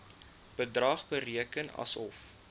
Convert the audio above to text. bedrag bereken asof